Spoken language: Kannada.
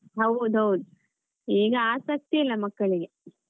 ಹೌದ್ ಹೌದ್ ಈಗ ಆಸಕ್ತಿ ಇಲ್ಲ ಮಕ್ಕಳಿಗೆ.